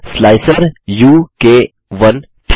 slicer उ क 1